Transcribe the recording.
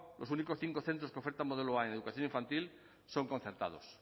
los únicos cinco centros que ofertan modelo a en educación infantil son concertados